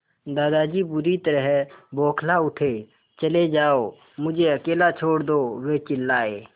दादाजी बुरी तरह बौखला उठे चले जाओ मुझे अकेला छोड़ दो वे चिल्लाए